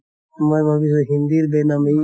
মই ভাবিছো হিন্দীৰ